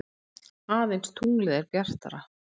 Aðeins tunglið er bjartara.